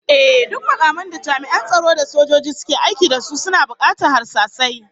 Ehh, duk makaman da jami'an tsaro da sojoji suke aiki da su suna bukatar harsasai